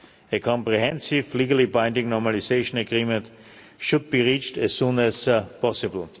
A comprehensive, legally binding normalisation agreement should be reached as soon as possible.